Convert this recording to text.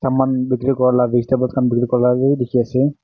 man bhikiri kora vegetable khan bikiri kora lah bhi dikhi ase.